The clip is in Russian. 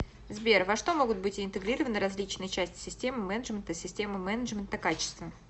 сбер во что могут быть интегрированы различные части системы менеджмента с системой менеджмента качества